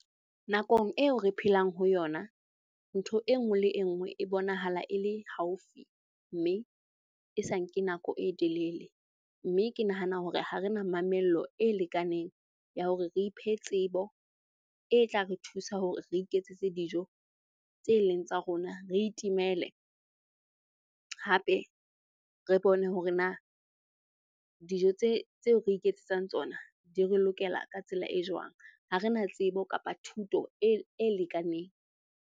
Nakong eo re phelang ho yona, ntho e nngwe le e nngwe e bonahala e le haufi mme e sa nke nako e telele. Mme ke nahana hore ha re na mamello e lekaneng ya hore re iphe tsebo e tla re thusa hore re iketsetse dijo tse leng tsa rona, re itimele hape re bone hore na dijo tse tseo re iketsetsang tsona di re lokela ka tsela e jwang. Ha re na tsebo kapa thuto e lekaneng.